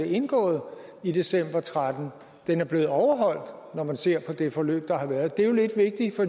indgået i december og tretten er blevet overholdt når man ser på det forløb der har været det er lidt vigtigt for